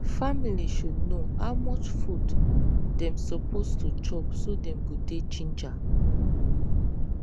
family should know how much food dem suppose to chop so dem go dey ginger